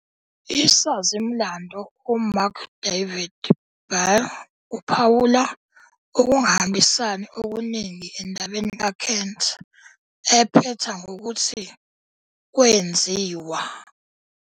Isazi-mlando uMarc David Baer uphawula ukungahambisani okuningi endabeni kaKent, ephetha ngokuthi "kwenziwa".